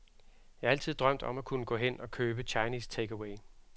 Jeg altid drømt om at kunne gå hen og købe chinese takeaway.